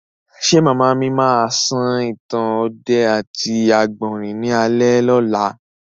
Ṣé màmá mi máa sọ ìtàn ọdẹ àti àgbọ̀rín ní alẹ́ ọ̀la?